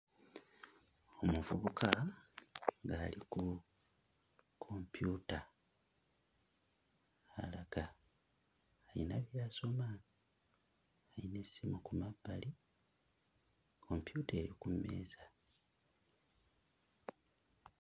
Omuvubuka ng'ali ku kompyuta alaga ayina by'asoma, ayina essimu ku mabbali, kompyuta eri ku mmeeza.